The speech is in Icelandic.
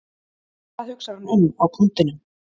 Hvað hugsar hann um á punktinum?